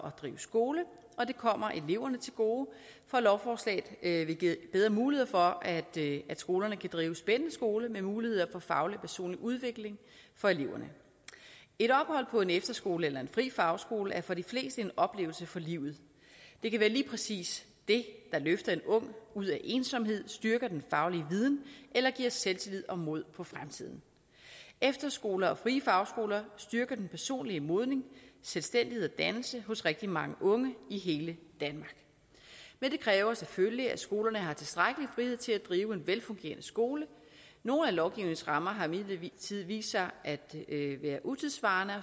at drive skole og det kommer eleverne til gode for lovforslaget vil give bedre mulighed for at skolerne kan drive en spændende skole med muligheder for faglig og personlig udvikling for eleverne et ophold på en efterskole eller en fri fagskole er for de fleste en oplevelse for livet det kan være lige præcis det der løfter en ung ud af ensomhed styrker den faglige viden eller giver selvtillid og mod på fremtiden efterskoler og frie fagskoler styrker den personlige modning selvstændighed og dannelse hos rigtig mange unge i hele danmark men det kræver selvfølgelig at skolerne har tilstrækkelig frihed til at drive en velfungerende skole nogle af lovgivningens rammer har imidlertid vist sig at være utidssvarende